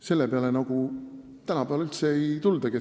Selle peale tänapäeval justkui üldse ei tuldagi.